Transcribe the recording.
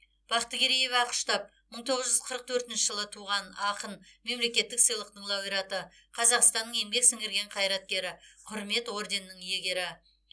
бақтыгереева ақұштап мың тоғыз жүз қырық төртінші жылы туған ақын мемлекеттік сыйлықтың лауреаты қазақстанның еңбек сіңірген қайраткері құрмет орденінің иегері